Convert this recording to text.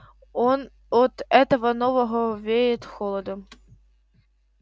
от этого нового веет холодом